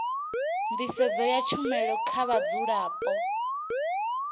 nḓisedzo ya tshumelo kha vhadzulapo